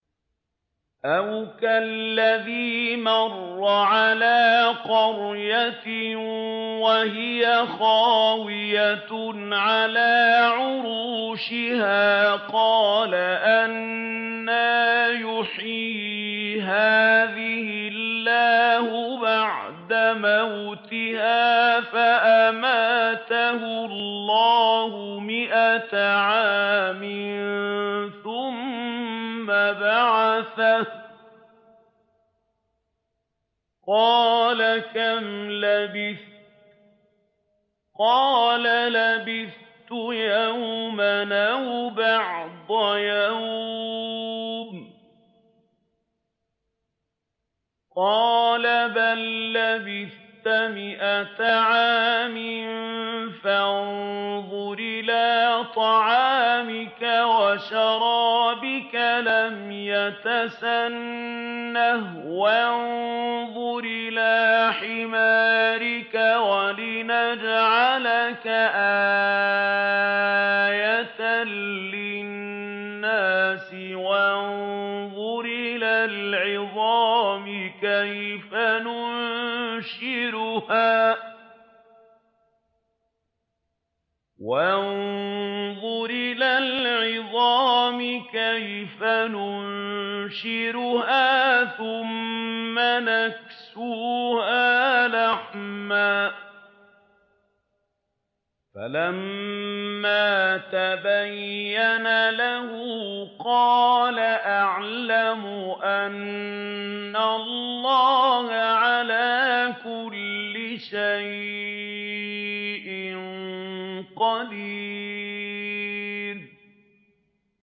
أَوْ كَالَّذِي مَرَّ عَلَىٰ قَرْيَةٍ وَهِيَ خَاوِيَةٌ عَلَىٰ عُرُوشِهَا قَالَ أَنَّىٰ يُحْيِي هَٰذِهِ اللَّهُ بَعْدَ مَوْتِهَا ۖ فَأَمَاتَهُ اللَّهُ مِائَةَ عَامٍ ثُمَّ بَعَثَهُ ۖ قَالَ كَمْ لَبِثْتَ ۖ قَالَ لَبِثْتُ يَوْمًا أَوْ بَعْضَ يَوْمٍ ۖ قَالَ بَل لَّبِثْتَ مِائَةَ عَامٍ فَانظُرْ إِلَىٰ طَعَامِكَ وَشَرَابِكَ لَمْ يَتَسَنَّهْ ۖ وَانظُرْ إِلَىٰ حِمَارِكَ وَلِنَجْعَلَكَ آيَةً لِّلنَّاسِ ۖ وَانظُرْ إِلَى الْعِظَامِ كَيْفَ نُنشِزُهَا ثُمَّ نَكْسُوهَا لَحْمًا ۚ فَلَمَّا تَبَيَّنَ لَهُ قَالَ أَعْلَمُ أَنَّ اللَّهَ عَلَىٰ كُلِّ شَيْءٍ قَدِيرٌ